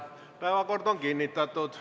Päevakord on kinnitatud.